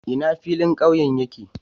Ina filin ƙauye yake?